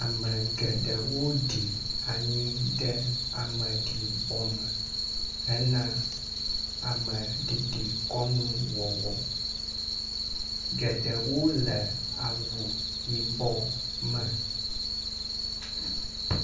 Ame geɖewo ɖi anyi ɖe ame ɖibɔ me hena ameɖiɖikɔnuwɔwɔ, geɖewo le awu yibɔ me.